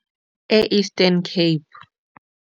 E-Eastern Cape.